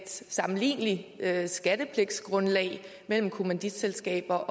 sammenligneligt skattepligtsgrundlag mellem kommanditselskaberne